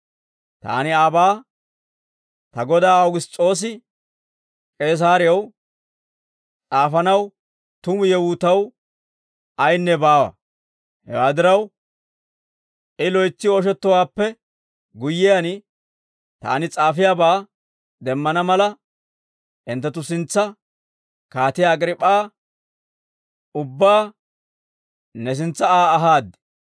Taani aabaa ta godaa Awugiss's'oose K'eesaarew s'aafanaw tumu yewuu taw ayinne baawa; hewaa diraw, I loytsi ooshettowaappe guyyiyaan, taani s'aafiyaabaa demmana mala, hinttenttu sintsa, Kaatiyaa Agriip'p'aa, ubbaa ne sintsa Aa ahaad.